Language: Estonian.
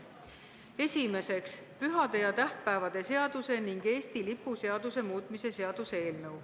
Esimeseks, pühade ja tähtpäevade seaduse ning Eesti lipu seaduse muutmise seaduse eelnõu.